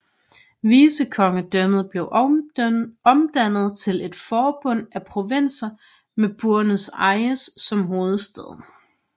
Vicekongedømmet blev omdannet til et forbund af provinser med Buenos Aires som hovedstad